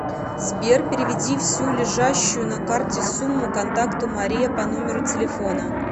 сбер переведи всю лежащую на карте сумму контакту мария по номеру телефона